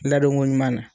Ladonko ɲuman na